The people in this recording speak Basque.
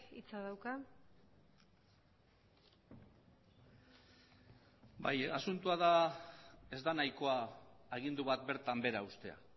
hitza dauka bai asuntoa da ez da nahikoa agindu bat bertan behera ustea